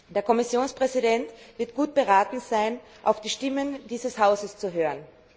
Der Kommissionspräsident wird gut beraten sein, auf die Stimmen dieses Hauses zu hören.